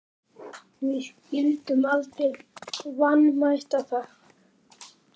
Við skyldum aldrei vanmeta það.